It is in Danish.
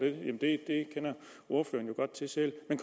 kender ordføreren jo godt til selv men